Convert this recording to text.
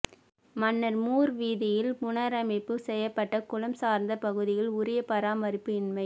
மன்னார் மூர்வீதியில் புனரமைப்பு செய்யப்பட்ட குளம் சார்ந்த பகுதிகள் உரிய பராமறிப்பு இன்மை